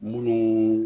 Munnu